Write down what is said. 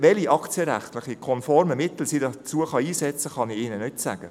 Welche aktienrechtlich konformen Mittel sie dazu einsetzen könnte, kann ich ihnen nicht sagen.